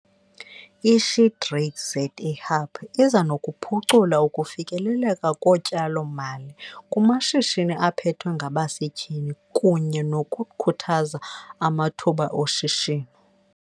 I-SheTradesZA Hub iza nokuphucula ukufikeleleka kotyalo-mali kumashishini aphethwe ngabasetyhini kunye nokukhuthaza amathuba oshishino.